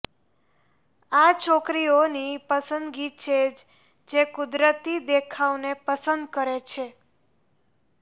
આ છોકરીઓની પસંદગી છે જે કુદરતી દેખાવને પસંદ કરે છે